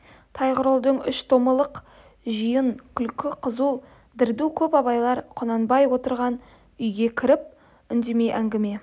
тойғұлының үш тамы лық жиын күлкі қызу дырду көп абайлар құнанбай отырған үйге кіріп үндемей әңгіме